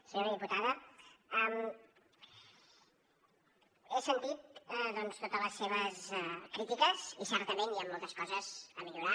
senyora diputada he sentit doncs totes les seves crítiques i certament hi han moltes coses a millorar